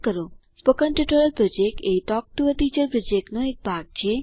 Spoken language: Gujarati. સ્પોકન ટ્યુટોરિયલ પ્રોજેક્ટ એ ટોક ટુ અ ટીચર પ્રોજેક્ટનો એક ભાગ છે